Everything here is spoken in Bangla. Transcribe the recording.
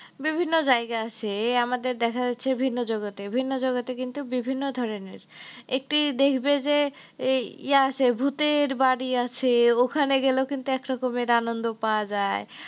বিভিন্ন জায়গা আছে এ আমাদের দেখা যাচ্ছে যে ভিন্ন জগতে ভিন্ন জগতে কিন্তু বিভিন্ন ধরনের, একটি দেখবে যে ইয়ে আছে, ভূতের বাড়ি আছে ওখানে গেলেও কিন্তু একরকমের আনন্দ পাওয়া যায়।